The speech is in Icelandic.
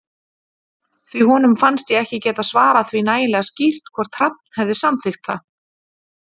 Því honum fannst ég ekki geta svarað því nægilega skýrt hvort Hrafn hefði samþykkt það.